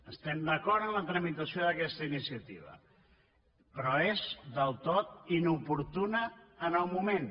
estem d’acord amb la tramitació d’ aquesta iniciativa però és del tot inoportuna en el moment